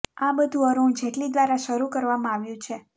આ બધું અરૂણ જેટલી દ્વારા શરૂ કરવામાં આવ્યું છે